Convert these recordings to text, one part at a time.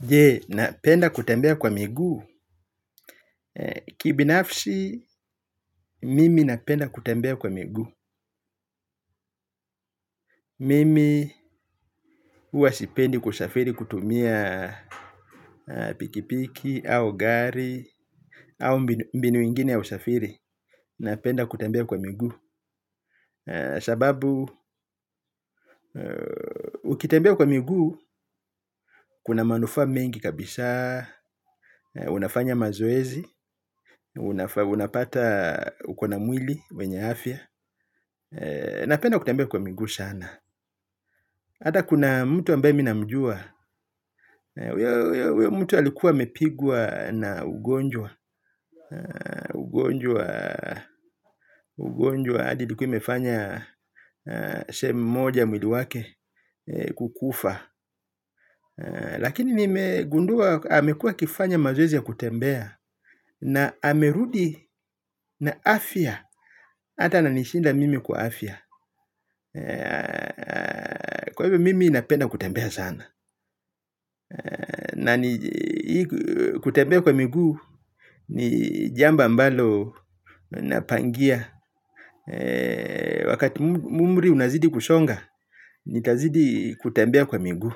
Je, napenda kutembea kwa miguu. Kibinafsi, mimi napenda kutembea kwa miguu. Mimi huwa sipendi kusafiri kutumia pikipiki, au gari, au mbinu ingine ya usafiri. Napenda kutembea kwa miguu. Sababu ukitembea kwa miguu kuna manufaa mengi kabisa. Unafanya mazoezi. Unapata. Ukona mwili wenye afya. Napenda kutembea kwa miguu sana hata kuna mtu ambaye mi namjua. Mtu alikuwa amepigwa na ugonjwa. Ugonjwa ugonjwa hadi ilikuwa imefanya sehemu moja ya mwili wake kukufa lakini nimegundua amekua akifanya mazoezi ya kutembea na amerudi na afya hata ananishinda mimi kwa afya kwa hivyo mimi napenda kutembea sana na ni kutembea kwa miguu ni jambo ambalo napangia wakati umri unazidi kusonga nitazidi kutembea kwa miguu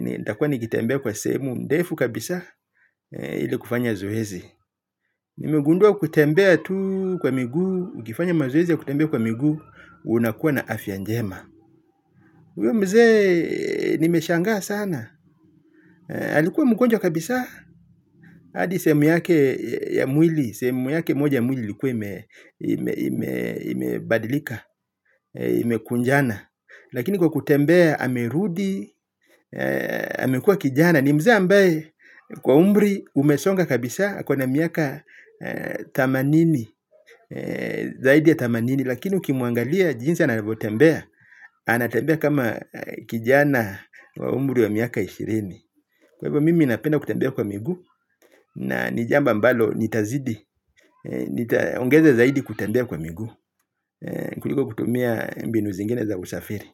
nitakua nikitembea kwa sehemu ndefu kabisa ili kufanya zoezi. Nimegundua kutembea tu kwa miguu, ukifanya mazoezi ya kutembea kwa miguu, unakuwa na afya njema. Uyo mzee nimeshanga sana. Alikuwa mgonjwa kabisa, hadi sehemu yake ya mwili, sehemu yake moja ya mwili likuwa imebadilika, imekunjana. Lakini kwa kutembea, amerudi, amekua kijana. Ni mzee ambaye kwa umri, umesonga kabisa, ako na miaka themanini. Zaidi ya themanini lakini ukimuangalia jinsi anavyotembea. Anatembea kama kijana wa umri wa miaka ishirini. Kwa hivyo mimi napenda kutembea kwa miguu na ni jambo ambalo nitazidi ongeza zaidi kutembea kwa miguu. Kutumia mbinu zingine za usafiri.